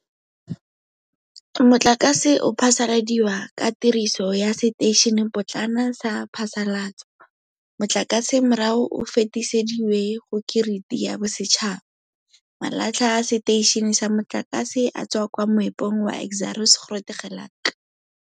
Motlakase o phasaladiwa ka tiriso ya seteišenepotlana sa phasalatso. Motlakase morago o fetisediwe go kiriti ya bosetšhaba. Malatlha a seteišene sa motlakase a tswa kwa moepong wa Exxaro's Grootegeluk.